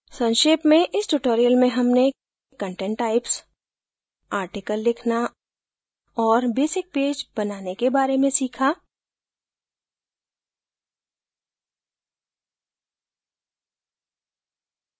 संक्षेप में इस tutorial में हमने content types article लिखना और basic page बनाने के बारे में सीखा